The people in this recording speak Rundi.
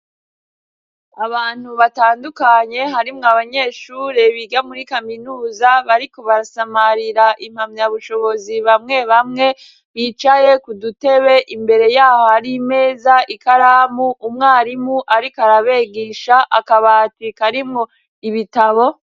Abantu batandukanye harimwo abanyeshure biga muri kaminuza bariko basamarira impamyabushobozi, bamwe bamwe bicaye kudutebe . Imbere yaho hari meza, ikaramu, umwarimu ariko arabigisha, akabati karimwo ibitabo.